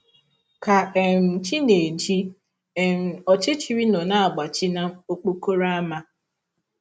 Ka um chi na - eji um, ọchịchịrị nọ na - agbachi n’ọkpọrọ ámá.